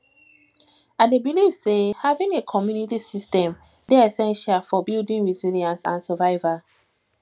i dey believe say having a community support system dey essential for for building resilience and survival